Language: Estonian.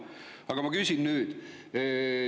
Aga ma küsin nüüd.